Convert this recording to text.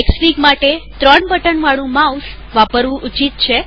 Xfig માટે ત્રણ button વાળું માઉસ વાપરવું ઉચિત છે